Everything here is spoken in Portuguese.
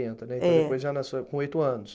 Né. É. Então, depois já com oito anos.